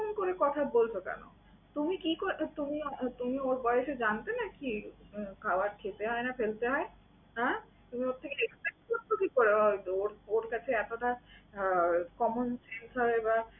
ওমন করে কথা বলছো কেন? তুমি কি করে তুমি তুমি ওর বয়েসে জানতে নাকি খাবার খেতে হয় না ফেলতে হয়? হ্যাঁ? তুমি ওর থেকে expect করছো কি করে ওর ওর কাছে এতটা আহ common sense হয় বা